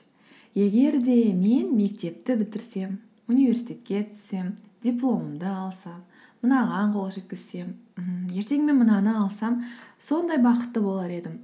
егер де мен мектепті бітірсем университетке түссем дипломымды алсам мынаған қол жеткізсем ммм ертең мен мынаны алсам сондай бақытты болар едім